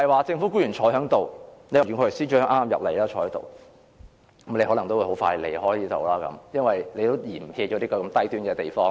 政府官員坐在席上，袁國強司長剛進入會議廳坐下，但他可能很快也會離開這裏，因為他也嫌棄這個"低端"的地方。